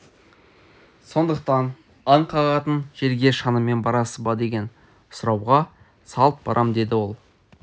сондықтан аң қағатын жерге шанамен барасыз ба деген сұрауға салт барам деді ол